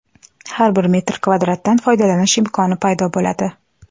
Har bir metr kvadratdan foydalanish imkoni paydo bo‘ladi.